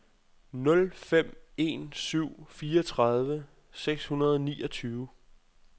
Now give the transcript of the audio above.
nul fem en syv fireogtredive seks hundrede og niogtyve